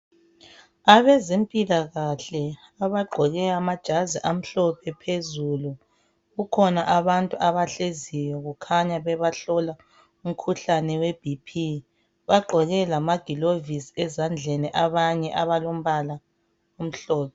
Abezempilakahle abagqoke amajazi amhlophe phezulu kukhona abantu abahleziyo kukhanya bebehlola umkhuhlane we BP bagqoke lamaglavisi ezandleni abanye alombala omhlophe.